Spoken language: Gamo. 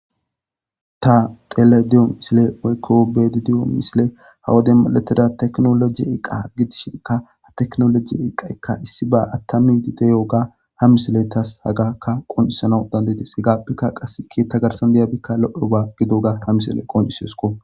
Ta xelayida diyo missile woykko be'aydda diyo missiley ha wodden medhdhetida tekkinolojje eqqa gidishinka ha tekinlojje eqqayka issibba aatamidi de'iyoba ha missiley tasi hagakka qonccisanawu dandaides heggapeka qassi keththa gaththan diyobay loiyaba gidiyoga ha missiley qonccisesiko.